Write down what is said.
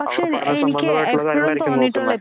ആകപ്പാടെ സംബന്ധമായിട്ടുള്ള കാര്യങ്ങളായിരിക്കും നോക്കുന്നത്.